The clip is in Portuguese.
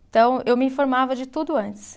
Então, eu me informava de tudo antes.